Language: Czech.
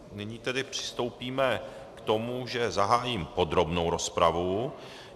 Nyní tedy přistoupíme k tomu, že zahájím podrobnou rozpravu.